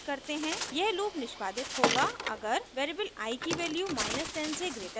यह लूप निष्पादित होगा अगर वेरिएबल i की वैल्यू 10 से ग्रेटर हो